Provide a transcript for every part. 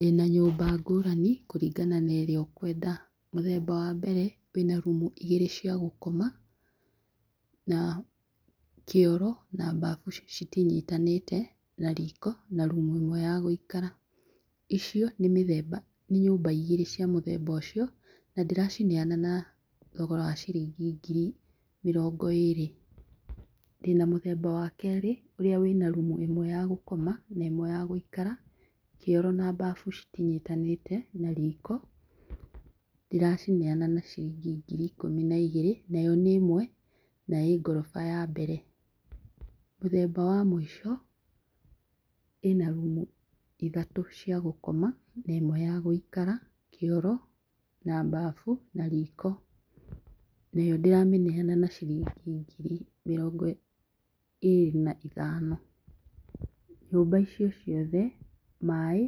Ndĩna nyũmba ngũrani kũringana na ĩrĩa ũkwenda. Mũthemba wa mbere, wĩna rumu igĩrĩ cia gũkoma na kĩoro na mbabu citinyitanĩte, na riko, na rumu ĩmwe ya gũikara. Icio nĩ mĩthemba nĩ nyũmba igĩrĩ cia mũthemba ũcio, na ndĩracineana na thogora wa ciringi ngiri mĩrongo ĩrĩ. Ndĩna mũthemba wa kerĩ, ũrĩa wĩna rumu ĩmwe ya gũkoma na ĩmwe ya gũikara, kĩoro na mbabu citinyitanĩte, na riko, ndĩracineana na ciringi ngiri ikũmi na igĩrĩ. Nayo nĩ ĩmwe na ĩ ngoroba ya mbere. Mũthemba wa mũico, ĩna rumu ithatũ cia gũkoma, na ĩmwe ya gũikara, kĩoro na mbabu na riko nayo ndĩramĩneana na ciringi ngiri mĩrongo ĩrĩ na ithano. Nyũmba icio ciothe maaĩ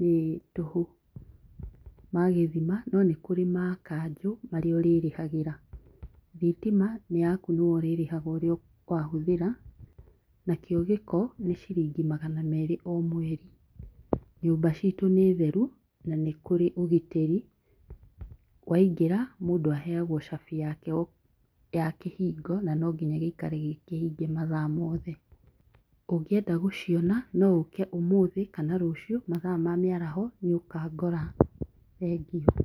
nĩ tũhu, ma gĩthima no nĩ kũrĩ ma kanjũ, marĩa ũrĩrĩhagĩra. Thitima nĩ yaku nĩ we ũrĩrĩhaga ũrĩa wa hũthĩra. Na kĩo gĩko nĩ ciringi magana merĩ o mweri. Nyũmba citũ nĩ theru na nĩ kũrĩ ũgitĩri. Waingĩra mũndũ aheagwo cabi yake ya kĩhingo na no nginya gĩikare gĩkĩhinge mathaa mothe. Ũngĩenda gũciona, no ũke ũmũthĩ kana rũciũ mathaa ma mĩaraho, nĩũkangora. Thengiũ.